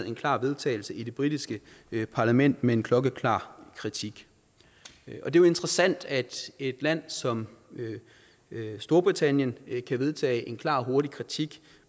en klar vedtagelse i det britiske parlament med en klokkeklar kritik det er jo interessant at et land som storbritannien kan vedtage en klar og hurtig kritik